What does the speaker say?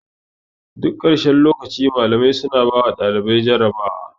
Duk karshen lokaci malamai suna bawa ɗalibai jarabawa.